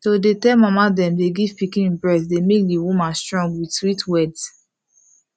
to dey tell mama them dey give pikin breast dey make the women strong with sweet words